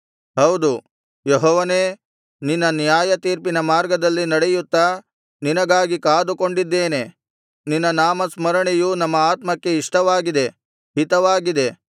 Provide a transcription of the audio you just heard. ಹೌದು ಯೆಹೋವನೇ ನಿನ್ನ ನ್ಯಾಯತೀರ್ಪಿನ ಮಾರ್ಗದಲ್ಲಿ ನಡೆಯುತ್ತಾ ನಿನಗಾಗಿ ಕಾದುಕೊಂಡಿದ್ದೇವೆ ನಿನ್ನ ನಾಮಸ್ಮರಣೆಯು ನಮ್ಮ ಆತ್ಮಕ್ಕೆ ಇಷ್ಟವಾಗಿದೆ ಹಿತವಾಗಿದೆ